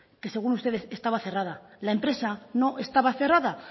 que según ustedes estaba cerrada la empresa no estaba cerrada